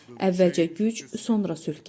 Əvvəlcə güc, sonra sülh gəlir.